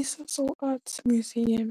ISasol Art Museum